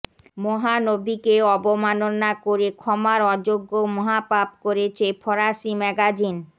মহানবীকে অবমাননা করে ক্ষমার অযোগ্য মহাপাপ করেছে ফরাসি ম্যাগাজিন